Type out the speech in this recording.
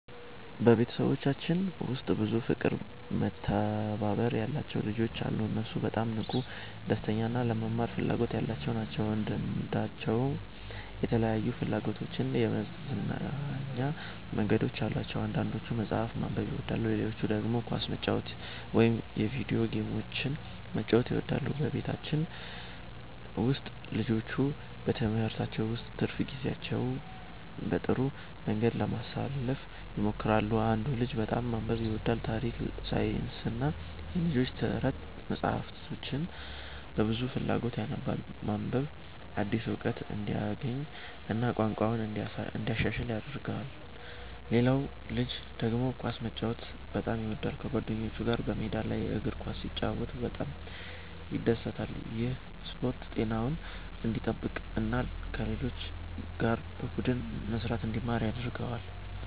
በቤተሰባችን ውስጥ ብዙ ፍቅርና መተባበር ያለባቸው ልጆች አሉ። እነሱ በጣም ንቁ፣ ደስተኛ እና ለመማር ፍላጎት ያላቸው ናቸው። እያንዳንዳቸው የተለያዩ ፍላጎቶችና የመዝናኛ መንገዶች አሏቸው። አንዳንዶቹ መጽሐፍ ማንበብ ይወዳሉ፣ ሌሎቹ ደግሞ ኳስ መጫወት ወይም የቪዲዮ ጌሞችን መጫወት ይወዳሉ። በቤታችን ውስጥ ልጆቹ ከትምህርታቸው በኋላ ትርፍ ጊዜያቸውን በጥሩ መንገድ ለማሳለፍ ይሞክራሉ። አንዱ ልጅ በጣም ማንበብ ይወዳል። ታሪክ፣ ሳይንስና የልጆች ተረት መጻሕፍትን በብዙ ፍላጎት ያነባል። ማንበብ አዲስ እውቀት እንዲያገኝ እና ቋንቋውን እንዲያሻሽል ይረዳዋል። ሌላው ልጅ ደግሞ ኳስ መጫወት በጣም ይወዳል። ከጓደኞቹ ጋር በሜዳ ላይ እግር ኳስ ሲጫወት በጣም ይደሰታል። ይህ ስፖርት ጤናውን እንዲጠብቅ እና ከሌሎች ጋር በቡድን መስራትን እንዲማር ይረዳዋል።